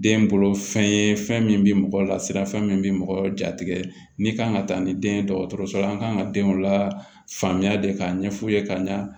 Den bolo fɛn ye fɛn min bi mɔgɔ lasiranfɛn min be mɔgɔ jatigɛ ni kan ka taa ni den ye dɔgɔtɔrɔso la an kan ka denw la faamuya de k'a ɲɛf'u ye ka ɲa